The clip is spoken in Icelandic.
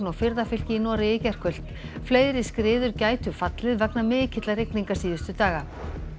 og firðafylki í Noregi í gærkvöld fleiri skriður gætu fallið vegna mikilla rigninga síðustu daga